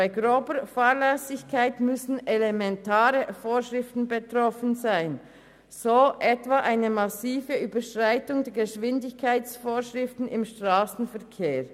Bei grober Fahrlässigkeit müssen elementare Vorschriften betroffen sein, so etwa bei einer massiven Überschreitung der Höchstgeschwindigkeit im Strassenverkehr.